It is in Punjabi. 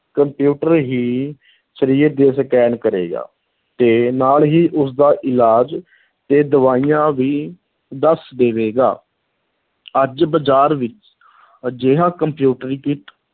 ਕੰਪਿਊਟਰ ਹੀ ਸਰੀਰ ਦੀ scan ਕਰੇਗਾ ਤੇ ਨਾਲ ਹੀ ਉਸਦਾ ਇਲਾਜ ਤੇ ਦਵਾਈਆਂ ਵੀ ਦੱਸ ਦੇਵੇਗਾ ਅੱਜ ਬਜ਼ਾਰ ਵਿੱਚ ਅਜਿਹਾ ਕੰਪਿਊਟਰੀਕ੍ਰਿਤ